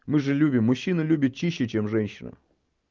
мы же любим мужчина любят чище чем женщина